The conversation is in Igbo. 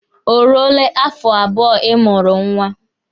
O ruole afọ abụọ ị mụrụ nwa?